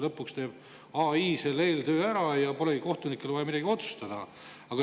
Lõpuks teeb AI eeltöö ära ja polegi kohtunikel vaja midagi otsustada.